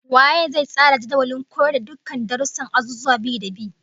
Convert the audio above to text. Waye zai tsara jadawalin koyar da dukkan darussan azuzuwa bi-da-bi?